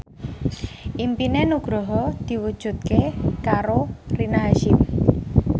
impine Nugroho diwujudke karo Rina Hasyim